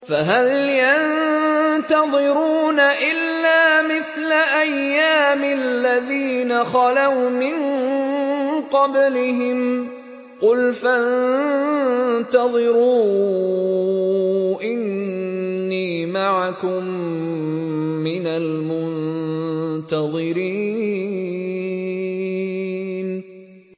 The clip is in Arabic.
فَهَلْ يَنتَظِرُونَ إِلَّا مِثْلَ أَيَّامِ الَّذِينَ خَلَوْا مِن قَبْلِهِمْ ۚ قُلْ فَانتَظِرُوا إِنِّي مَعَكُم مِّنَ الْمُنتَظِرِينَ